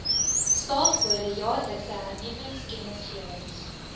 staafkode jaarlikse hernuwingskennisgewings